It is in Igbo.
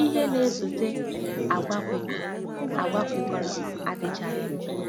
Ihe na-esote, àgwà kwekọrọ, àgwà kwekọrọ, adịchaghị mkpa.